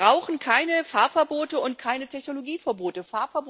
Wir brauchen keine Fahrverbote und keine Technologieverbote.